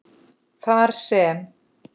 þar sem